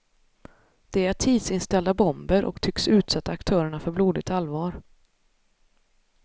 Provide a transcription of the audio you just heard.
De är tidsinställda bomber och tycks utsätta aktörerna för blodigt allvar.